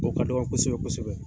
O ka dɔgɔ kosɛbɛ kosɛbɛ.